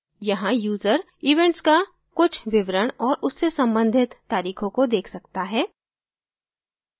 यहाँ user events का कुछ विवरण औऱ उससे संबंधित तारीखों को देख सकता है